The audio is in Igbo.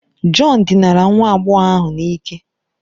John dinara nwa agbọghọ ahụ n'ike